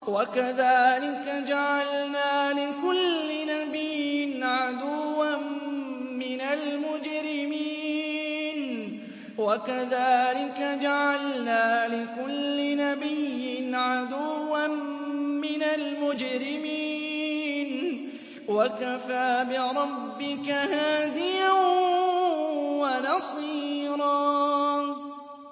وَكَذَٰلِكَ جَعَلْنَا لِكُلِّ نَبِيٍّ عَدُوًّا مِّنَ الْمُجْرِمِينَ ۗ وَكَفَىٰ بِرَبِّكَ هَادِيًا وَنَصِيرًا